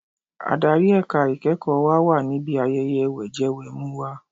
Adarí ẹ̀ka ìkẹ́ẹ̀kọ̀ wa wà níbi ayẹyẹ wẹ̀jẹwẹ̀mu wa.